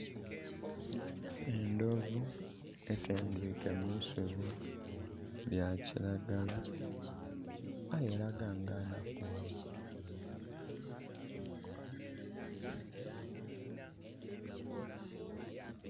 Endhovu etendhwiike mu isubi lya kiragala, aye elaga nga nhakughavu.